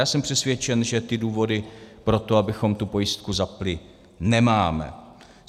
Já jsem přesvědčený, že ty důvody pro to, abychom tu pojistku zapnuli, nemáme.